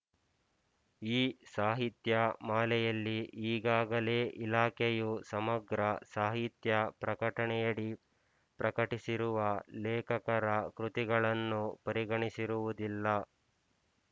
ಈ ಸಾಹಿತ್ಯ ಮಾಲೆಯಲ್ಲಿ ಈಗಾಗಲೇ ಇಲಾಖೆಯು ಸಮಗ್ರ ಸಾಹಿತ್ಯ ಪ್ರಕಟಣೆಯಡಿ ಪ್ರಕಟಿಸಿರುವ ಲೇಖಕರ ಕೃತಿಗಳನ್ನು ಪರಿಗಣಿಸಿರುವುದಿಲ್ಲ